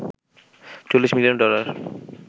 ৪০ million dollar